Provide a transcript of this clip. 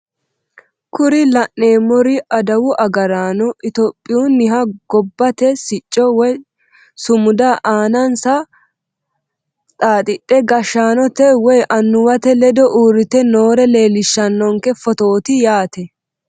Kuri la'neemori adawu agaraano itiyophiyuuniha gabbate sicco woye sumuda aanansa dhaadhidhe gashshanote woye annuwate ledo uurite noore leelishanonke fotooti yaate.